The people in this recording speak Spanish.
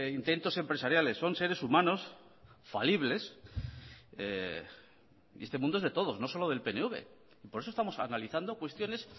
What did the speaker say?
intentos empresariales son seres humanos falibles y este mundo es de todos no solo del pnv y por eso estamos analizando cuestiones